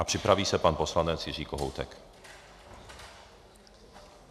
A připraví se pan poslanec Jiří Kohoutek.